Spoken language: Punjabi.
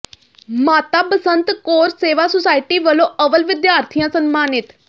ਮਾਤਾ ਬਸੰਤ ਕੌਰ ਸੇਵਾ ਸੁਸਾਇਟੀ ਵੱਲੋਂ ਅੱਵਲ ਵਿਦਿਆਰਥੀਆਂ ਸਨਮਾਨਿਤ